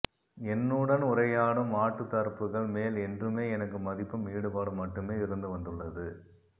என்னுடன் உரையாடும் மாற்றுத்தரப்புகள் மேல் என்றுமே எனக்கு மதிப்பும் ஈடுபாடும் மட்டுமே இருந்து வந்துள்ளது